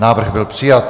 Návrh byl přijat.